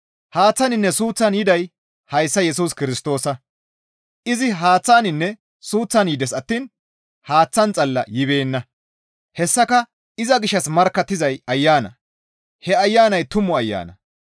Haaththaninne suuththan yiday hayssa Yesus Kirstoosa; izi haaththaninne suuththan yides attiin haaththan xalla yibeenna; hessaka iza gishshas markkattizay Ayana; he Ayanay tumu ayana.